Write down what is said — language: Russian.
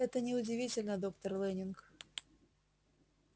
это не удивительно доктор лэннинг